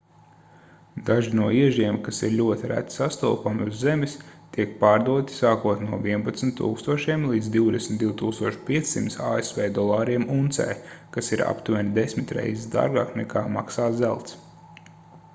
daži no iežiem kas ir ļoti reti sastopami uz zemes tiek pārdoti sākot no 11 000 līdz 22 500 asv dolāriem uncē kas ir aptuveni desmit reizes dārgāk nekā maksā zelts